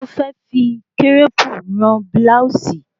Ó fẹ́ fi kírẹ̀pù rán búláòsì